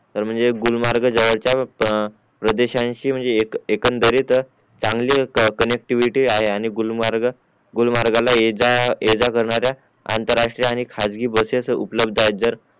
तर म्हणजे गुलमर्ग जवळचे प्रदेशांशी म्हणजे एकंदरीत चांगले काँनेक्टिव्हिटी आहे आणि गुलमर्ग गुलमर्गला ये जा ये जा करनाऱ्या आंतरराष्ट्रीय खासगी बसेस उपलब्ध आहेत जर